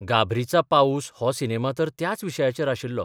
'गाब्रीचा पाऊस 'हो सिनेमा तर त्याच विशयाचेर आशिल्लो.